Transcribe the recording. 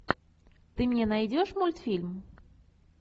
ты мне найдешь мультфильм